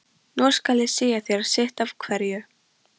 Nú skal ég segja þér sitt af hverju.